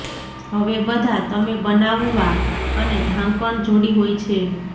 હવે બધા તમે બનાવવા અને ઢાંકણ જોડી હોય છે